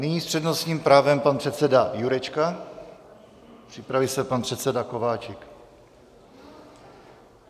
Nyní s přednostním právem pan předseda Jurečka, připraví se pan předseda Kováčik.